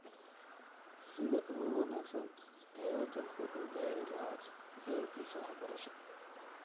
Sida ugu wanaagsan ee wadanku u gaari lahaa yoolkiisa waxbarasho.